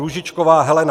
Růžičková Helena